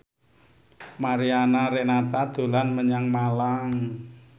Mariana Renata dolan menyang Malang